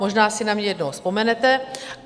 Možná si na mne jednou vzpomenete.